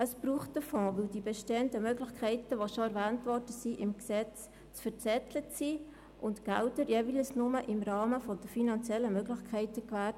Es braucht einen Fonds, denn die bestehenden Möglichkeiten, die im Gesetz stehen, sind zu verzettelt, und die Mittel werden jeweils nur im Rahmen der finanziellen Möglichkeiten gewährt.